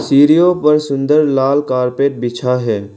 सीढ़ियों पर सुंदर लाल कारपेट बिछा है।